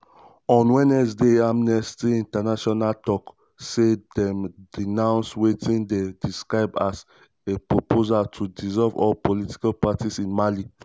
on um wednesday amnesty international tok um say dem denounce wetin dem describe as a "proposal to dissolve all political parties in mali".